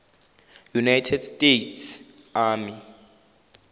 united states army